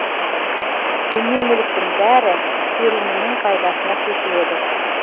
дүние мүліктің бәрі келінінің пайдасына шешіледі